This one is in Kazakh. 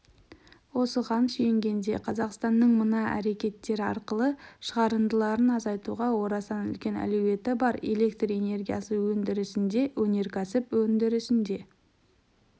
осыған сүйенгенде қазақстанның мына әрекеттер арқылы шығарындыларын азайтуға орасан үлкен әлеуеті бар электр энергиясы өндірісінде өнеркәсіп өндірісінде